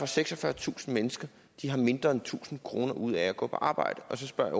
seksogfyrretusind mennesker har mindre end tusind kroner ud af at gå på arbejde og så spørger